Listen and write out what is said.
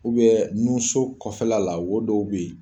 nun so kɔfɛla la wo dɔw be yen